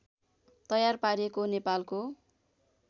तयार पारिएको नेपालको